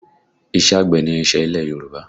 Iṣẹ́ àgbẹ̀ ni iṣẹ́ ilẹ̀ Yorùbá